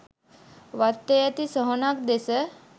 වත්තේ ඇති සොහොනක් දෙස